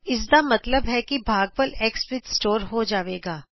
ਇਸਦਾ ਮਤਲਬ ਹੈ ਕਿ ਭਾਗਫਲ x ਵਿਚ ਸਟੋਰ ਹੋ ਜਾਵੇਗਾ